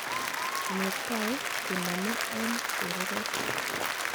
Netai konome en chereret.